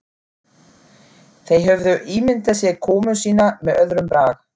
Þeir höfðu ímyndað sér komu sína með öðrum brag.